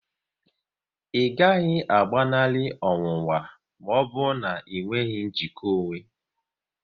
Ị gaghị agbanali ọnwụnwa maọbụ na enweghị njikpa onwe